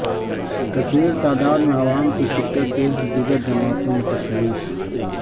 کثیر تعداد میں عوام کی شرکت سے دیگر جماعتوں میں تشویش